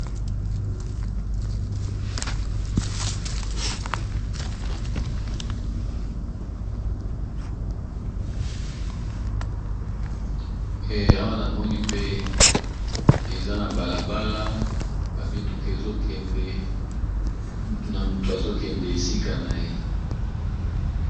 awana moni pe eza na balabala bamituke ezokende muna mutu azokende esika na ye